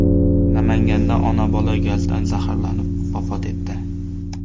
Namanganda ona-bola gazdan zaharlanib vafot etdi.